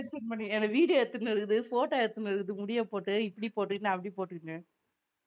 என்னை video எடுத்துன்னுருக்குது photo எடுத்துன்னுருக்குது முடிய போட்டு இப்படி போட்டுக்கினு அப்படி போட்டுக்கினு